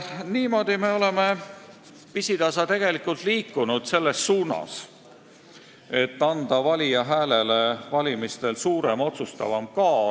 Niimoodi me oleme pisitasa tegelikult liikunud selles suunas, et anda valija häälele valimistel suurem, otsustavam kaal.